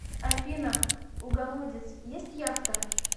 афина у голодец есть яхта